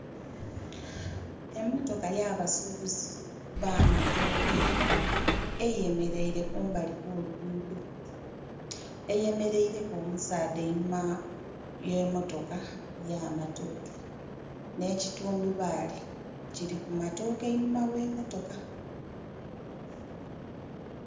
Emotoka yabasubuzi ba matooke eyemeleire kumbali kw'olugudho eyemeleireku omusaadha einhuma ye motoka ya matooke nhe kitundhubali kiri ku matooke einhuma gh'emotoka.